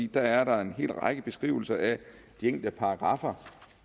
der er en hel række beskrivelser af de enkelte paragraffer